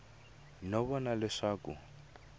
no vona leswaku a a